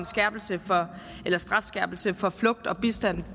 strafskærpelse for flugt og bistand